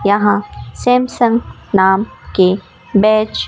यहां सैमसंग नाम के बैच --